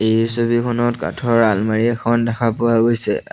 এই ছবিখনত কাঠৰ আলমাৰি এখন দেখা পোৱা গৈছে আল--